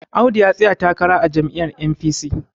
Audu ya tsaya takara a jami'yar N.P..c